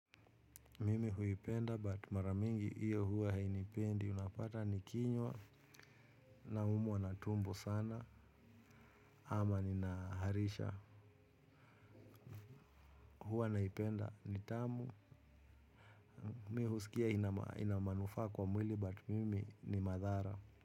Mimi huipenda but mara mingi iyo huwa hainipendi unapata nikinywa naumwa na tumbo sana ama nina harisha huwa naipenda ni tamu mi husikia ina manufaa kwa mwili but mimi ni madhara.